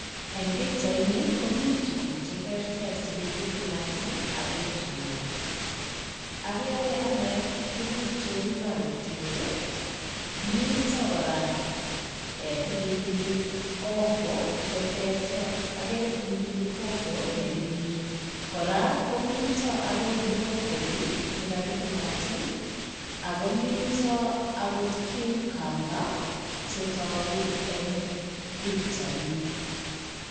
Eng pichaini koni tukuk cheteretr chekakitil aketuiyo. Agere ane tukuk cheu karotiek, mito kora pilipili hoho, chetereter, agere pilipili hoho nepirir. Kora komito akoi brocholi nekakitilatil akomito akot cucumber chetogu eng pichaini.